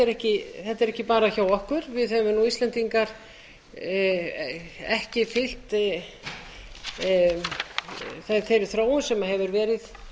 því ekki bara hjá okkur við höfum íslendingar ekki fylgt þeirri þróun sem hefur verið